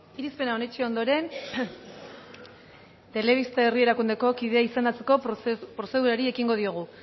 irizpena onetsi ondoren telebista herri erakundeko kidea izendatzeko prozedurari ekingo diogu